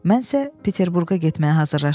Mən isə Peterburqa getməyə hazırlaşıram.